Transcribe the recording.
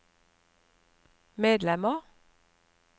medlemmer